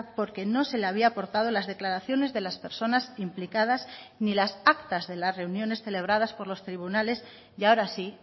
porque no se le había aportado las declaraciones de las personas implicadas ni las actas de las reuniones celebradas por los tribunales y ahora sí